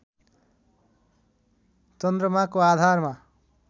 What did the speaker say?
चन्द्रमाको आधारमा